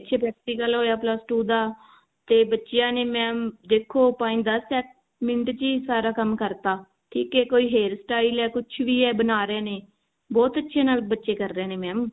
ਜਿਵੇਂ practical ਹੋਇਆ plus two ਦਾ ਤੇ ਬੱਚਿਆਂ ਨੇ mam ਦੇਖੋ point ਦਸ ਮਿੰਟ ਚੀ ਸਾਰਾ ਕੰਮ ਕਰਤਾ ਕੋਈ hairstyle ਹੈ ਕੁਛ ਵੀ ਹੈ ਬਣਾ ਰਹੇ ਨੇ ਬਹੁਤ ਅੱਛੇ ਨਾਲ ਬੱਚੇ ਕਰ ਰਹੇ ਨੇ mam